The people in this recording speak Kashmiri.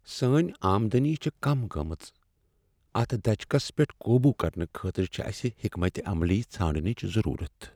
سٲنۍ آمدنی چھےٚ کم گٔمٕژ۔ اتھ دھچکس پیٹھ قوبو کرنہٕ خٲطرٕ چھ اسہ حکمت عملی ژھانڈنچ ضرورت۔